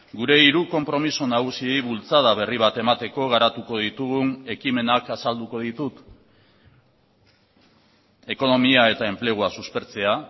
gure hiru konpromiso nagusiei bultzada berri bat emateko garatuko ditugun ekimenak azalduko ditut ekonomia eta enplegua suspertzea